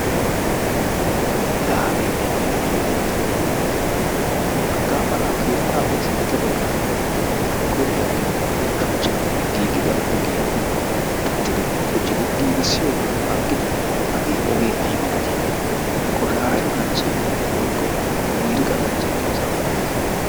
Laa hagee ayba heeree yaatidi haggaa mala ha keettappe sintta baggaara de"iya kobiliya giyo shuchchan giigida ogiya pittidi quccidi giigissiyogaa aggidi hagee ogee ayba malatii qoshaasha kanchchee woykko miiriqa de"iyosa malates.